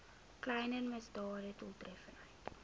kleiner misdade doeltreffend